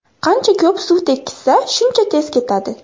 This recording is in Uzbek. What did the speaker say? Qancha ko‘p suv tekkizsa, shuncha tez ketadi.